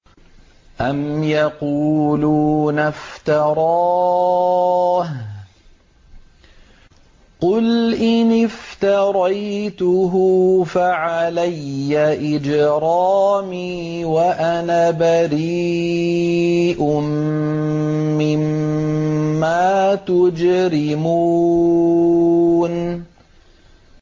أَمْ يَقُولُونَ افْتَرَاهُ ۖ قُلْ إِنِ افْتَرَيْتُهُ فَعَلَيَّ إِجْرَامِي وَأَنَا بَرِيءٌ مِّمَّا تُجْرِمُونَ